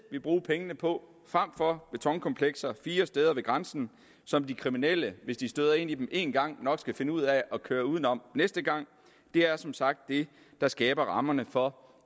vil bruge pengene på frem for at betonkomplekser fire steder ved grænsen som de kriminelle hvis de støder ind i dem en gang nok skal finde ud af at køre uden om næste gang er som sagt det der skaber rammerne for